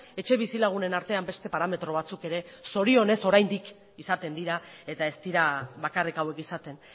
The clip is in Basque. etxe bizilagunen artean beste parametro batzuk ere zorionez oraindik izaten dira eta ez dira bakarrik hauek izaten